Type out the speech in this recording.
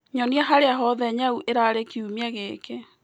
nyonĩa haria hothe nyau ĩrari kĩumĩa gĩkĩ